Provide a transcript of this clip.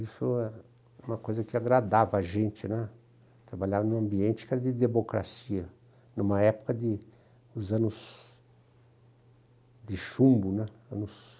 Isso é uma coisa que agradava a gente né, trabalhar num ambiente que era de democracia, numa época de dos anos de chumbo, né, anos